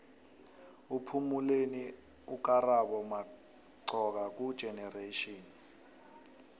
uphumeleni ukarabo moxoka kugenerations